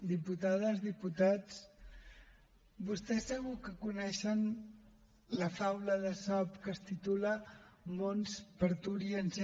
diputades diputats vostès segur que coneixen la faula d’esop que es titula mons parturiens